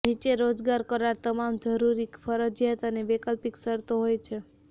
નીચે રોજગાર કરાર તમામ જરૂરી ફરજિયાત અને વૈકલ્પિક શરતો હોય છે